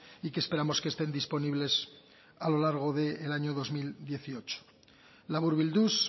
y que esperamos que estén disponibles a lo largo del año dos mil dieciocho laburbilduz